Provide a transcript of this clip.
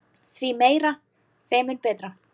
Því meira þeim mun betra.